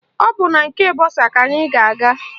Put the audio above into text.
Ọ bụ na nke bọsa ka anyị ga-aga